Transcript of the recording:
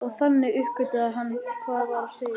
Og þannig uppgötvaði Anna hvað var á seyði.